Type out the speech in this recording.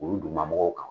Olu duguma mɔgɔw kan